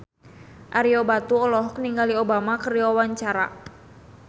Ario Batu olohok ningali Obama keur diwawancara